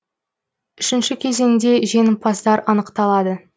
үшінші кезеңде жеңімпаздар анықталады